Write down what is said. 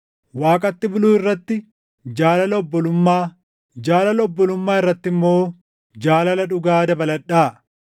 Waaqatti buluu irratti jaalala obbolummaa, jaalala obbolummaa irratti immoo jaalala dhugaa dabaladhaa.